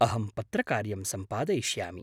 अहं पत्रकार्यं सम्पादयिष्यामि।